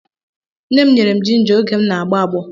Nne m nyere m jinja oge m na-agbọ agbọ.